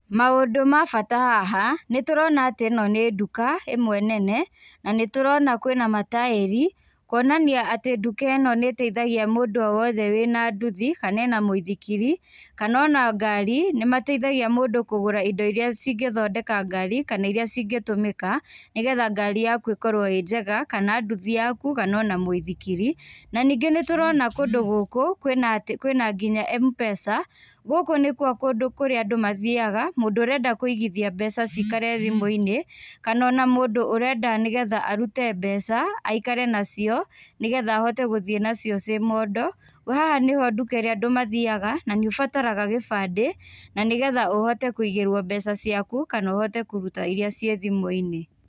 Maũndũ ma bata haha, nĩtũrona atĩ ĩno nĩ nduka ĩmwe nene, na nĩtũrona kwĩna mataĩri, kuonanai atĩ nduka ĩno nĩteithagia mũndũ o wothe wĩna nduthi kana ena mũithikiri, kana ona ngari, nĩmateithagia mũndũ kũgũra indo iria cingĩthondeka ngari, kana iria cingĩtũmĩka, nĩgetha ngari yaku ĩkorwo ĩ njega, kana nduthi yaku kana ona mũithikiri, na ningĩ nĩtũrona kũndũ gũkũ, kwĩna nginya M-pesa, gũkũ nĩkuo kũndũ kũrĩa andũ mathiaga, mũndũ ũrenda kũigithia mbeca cikare thimũinĩ, kana ona mũndũ ũrenda nĩgetha arute mbeca, aikare nacio, nĩgetha ahote gũthiĩ nacio ciĩ mondo, haha nĩho nduka irĩa andũ mathiaga na nĩ ũbataraga gĩbandĩ, na nĩgetha ũhote kũigĩrwo mbeca ciaku kana ũhote kũruta iria ciĩ thimũinĩ.